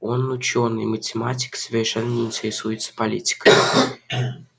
он учёный математик и совершенно не интересуется политикой